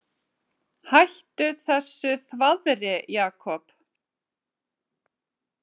Hættu þessu þvaðri, Jakob.